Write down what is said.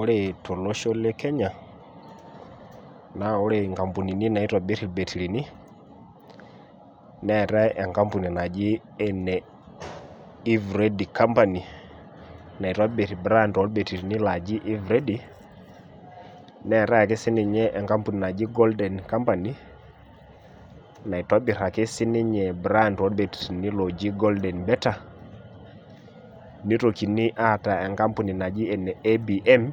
Ore tolosho le Kenya, naa ore nkampunini naitobir ilbetirini, neatae enkampuni naji ene eveready company naitobir braand olbetirini laaji eveready, neatae sii ake ninye enkampuni naji golden company naitobir si ake ninye mbraand olbetirini oji golden better neitokini aata enkampuni ene ABM